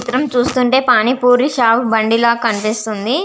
ఈ చిత్రం చూస్తుంటే పానిపురి స్టాల్ బండి లా కనిపిస్తూ వుంది.